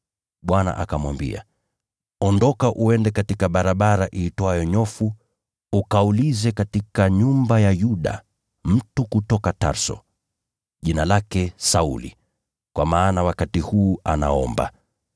Bwana akamwambia, “Ondoka uende katika barabara iitwayo Nyofu ukaulize katika nyumba ya Yuda mtu kutoka Tarso, jina lake Sauli, kwa maana wakati huu anaomba,